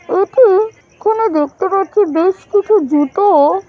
এটি কোন দেখতে পাচ্ছি বেশকিছু জুতোও--